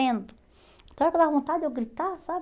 Então, aquela vontade de eu gritar, sabe?